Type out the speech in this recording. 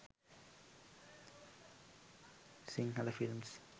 sinhala films